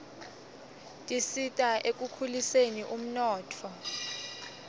tisita ekukhuliseni umnotfo